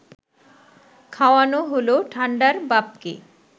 খাওয়ানো হল ঠান্ডার বাপকে